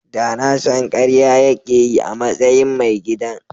Da na san karya yake yi a matsayin mai gidan.